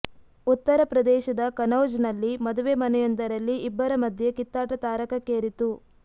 ಉತ್ತರ ಪ್ರದೇಶದ ಕನೌಜ್ ನಲ್ಲಿ ಮದುವೆ ಮನೆಯೊಂದರಲ್ಲಿ ಇಬ್ಬರ ಮಧ್ಯೆ ಕಿತ್ತಾಟ ತಾರಕಕ್ಕೇರಿತ್ತು